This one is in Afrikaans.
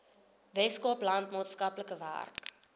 weskaapland maatskaplike werk